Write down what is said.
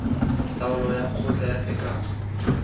taolo ya kgotla ya tekano